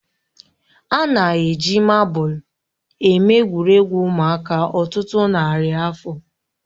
A na-eji mabụl eme egwuregwu ụmụaka ọtụtụ narị afọ